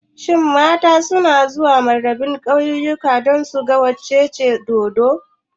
Shin mata suna zuwa Murabba'in kauyuka don suga wucewar dodo?